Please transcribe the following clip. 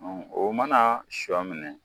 Ɔn, o mana sɔ minɛ